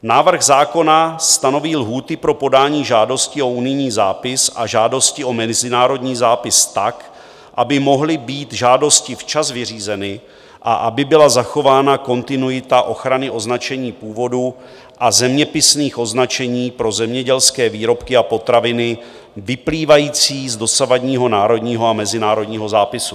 Návrh zákona stanoví lhůty pro podání žádosti o unijní zápis a žádosti o mezinárodní zápis tak, aby mohly být žádosti včas vyřízeny a aby byla zachována kontinuita ochrany označení původu a zeměpisných označení pro zemědělské výrobky a potraviny vyplývající z dosavadního národního a mezinárodního zápisu.